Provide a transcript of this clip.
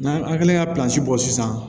N'an an kɛlen ka bɔ sisan